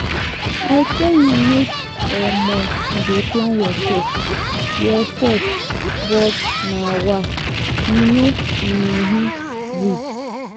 I tell you make um you dey plan yourself yourself but um you no um gree.